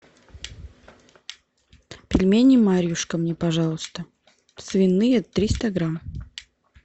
пельмени марьюшка мне пожалуйста свиные триста грамм